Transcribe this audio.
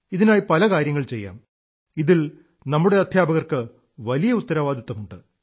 ഇതിനായി പല കാര്യങ്ങൾ ചെയ്യാം ഇതിൽ നമ്മുടെ അധ്യാപകർക്ക് വലിയ ഉത്തരവാദിത്വമുണ്ട്